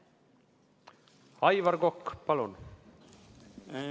Aivar Kokk, palun!